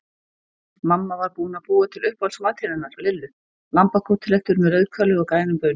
Mamma var búin að búa til uppáhaldsmatinn hennar Lillu, lambakótelettur með rauðkáli og grænum baunum.